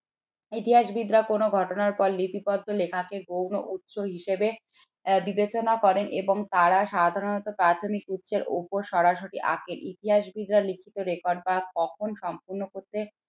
ইতিহাসবিদরা কোন ঘটনার লেখা কে গৌণ উৎস হিসাবে বিবেচনা করেন এবং তারা সাধারণত প্রাথমিক উৎসের উপর সরাসরি ইতিহাসবিদরা লিখিত record বা কখন সম্পূর্ণ করতে